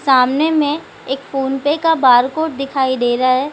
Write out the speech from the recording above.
सामने में एक फोनपे का बार कोड दिखाई दे रहा है।